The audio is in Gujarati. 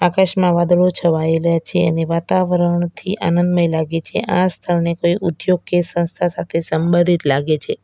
આકાશમાં વાદળો છવાઇલા છે અને વાતાવરણ થી આનંદમય લાગે છે આ સ્થળને કોઈ ઉદ્યોગ કે સંસ્થા સાથે સંબધિત લાગે છે.